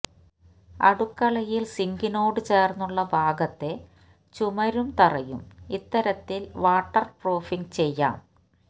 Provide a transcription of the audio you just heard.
അടുക്കളയിൽ സിങ്കിനോട് ചേർന്നുള്ള ഭാഗത്തെ ചുമരും തറയും ഇത്തരത്തിൽ വാട്ടർപ്രൂഫിങ് ചെയ്യാം